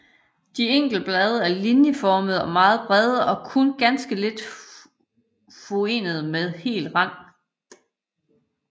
De enkelte blade er linjeformede og meget brede og kun ganske lidt furede med hel rand